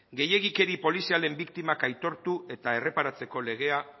gehiegikeri polizialen biktimak aitortu eta erreparatzeko legea